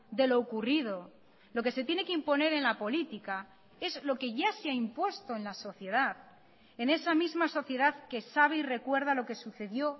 de lo ocurrido lo que se tiene que imponer en la política es lo que ya se ha impuesto en la sociedad en esa misma sociedad que sabe y recuerda lo que sucedió